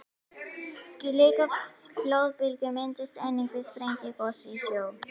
Slíkar flóðbylgjur myndast einnig við sprengigos í sjó.